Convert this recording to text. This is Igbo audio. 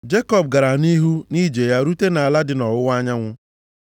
Jekọb gara nʼihu nʼije ya rute nʼala dị nʼọwụwa anyanwụ.